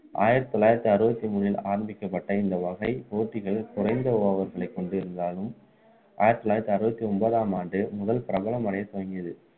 ஆயிரத்து தொள்ளாயிரத்து அறுபத்து மூன்றில் ஆரம்பிக்கப்பட்ட இந்த வகை போட்டிகள் குறைந்த over களைக் கொண்டு இருந்தாலும் ஆயிரத்து தொள்ளாயிரத்து அறுபத்து ஒன்பதாம் ஆண்டு முதல் பிரபலம் அடைய தொடங்கியது